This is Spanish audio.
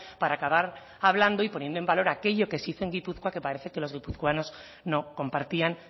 para acabar hablando y poniendo en valor aquello que se hizo en gipuzkoa que parece que los guipuzcoanos no compartían